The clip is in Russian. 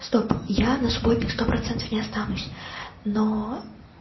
стоп я на субботник сто процентов не останусь но